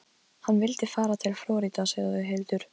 En þið þið eruð þjóðinni til skammar, flissandi pelabörn.